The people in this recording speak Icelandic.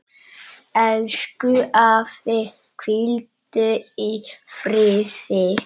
Elsku afi, hvíldu í friði.